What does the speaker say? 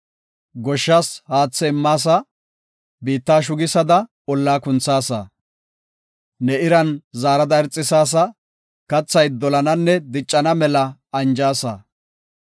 Goshshas haathe immaasa; biitta shugisada ollaa kunthaasa. Ne iran zaarada irxisaasa; kathay dolana diccana mela anjaasa.